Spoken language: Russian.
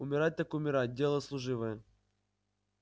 умирать так умирать дело служивое